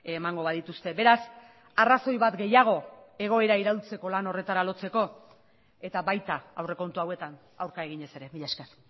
emango badituzte beraz arrazoi bat gehiago egoera iraultzeko lan horretara lotzeko eta baita aurrekontu hauetan aurka eginez ere mila esker